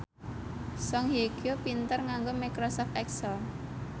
Song Hye Kyo pinter nganggo microsoft excel